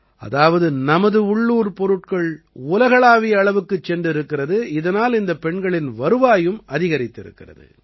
அதாவது நமது உள்ளூர் பொருட்கள் உலகளாவிய அளவுக்குச் சென்றிருக்கிறது இதனால் இந்தப் பெண்களின் வருவாயும் அதிகரித்திருக்கிறது